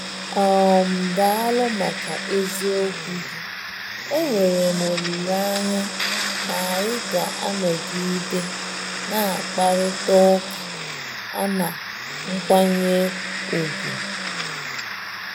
um Daalụ maka eziokwu gị; enwere m olileanya na anyị ga-anọgide na-akparịta ụka a na nkwanye ùgwù.